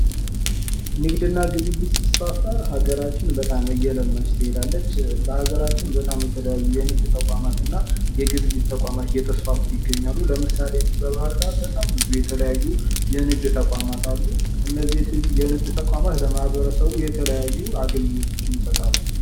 ንግድ እና ግብይት ሲስፋፋ ሀገራችን በጣም እየለማች ትሄዳለች። በሃገራችን የተለያዩ የግብይት እና የንግድ ተቋማት እየተስፋፉ ይገኛሉ። ለምሳሊ እዚህ በባህር ዳር በጣም ብዙ የተለያዩ የንድግ ተቋማት አሉ።